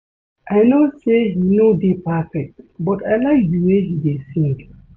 I no say he no dey perfect but I like the way he dey sing